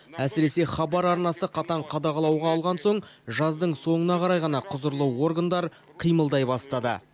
әсіресе хабар арнасы қатаң қадағалауға алған соң жаздың соңына қарай ғана құзырлы органдар қимылдай бастады